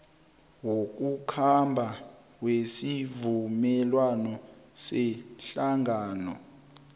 wokukhamba wesivumelwano sehlangano